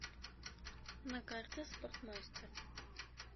на карте спортмастер